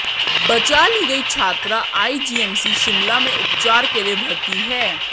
बचा ली गई छात्रा आईजीएमसी शिमला में उपचार के लिए भर्ती है